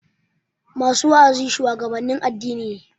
Masu wa'azi shuwagabannin addini ne